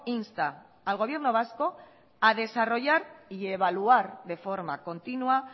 insta al gobierno vasco a desarrollar y evaluar de forma continua